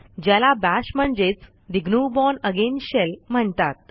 ज्याला बाश म्हणजेच the GNU bourne again shell म्हणतात